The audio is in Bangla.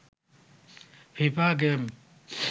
FIFA game